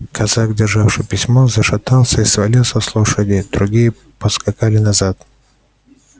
казак державший письмо зашатался и свалился с лошади другие поскакали назад